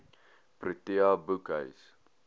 protea boekhuis